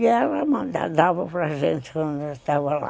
E ela dava para a gente quando eu estava lá.